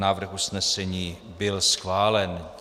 Návrh usnesení byl schválen.